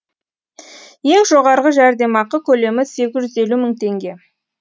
ең жоғарғы жәрдемақы көлемі сегіз жүз елу мың теңге